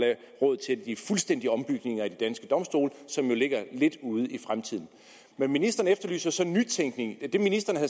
råd til de fuldstændige ombygninger i de danske domstole som jo ligger lidt ude i fremtiden ministeren efterlyser så nytænkning det ministeren